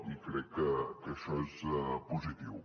i crec que això és positiu